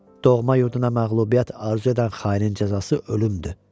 Doğma yurduna məğlubiyyət arzu edən xainin cəzası ölümdür.